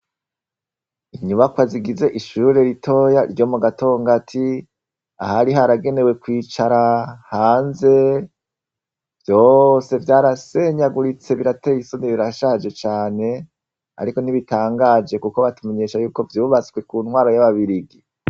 Inyubakwa zigize ishure ritoya ryo mu gatongati, ahari haragenewe kwicara hanze, vyose vyarasenyaguritse birateye isoni birashaje cane, ariko ntibitangaje kuko batumenyesha ko vyubatswe Ku ntwaro y'ababirigi.